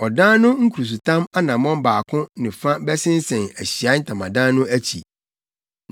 Ɔdan no nkurusotam anammɔn baako ne fa bɛsensɛn Ahyiae Ntamadan no akyi,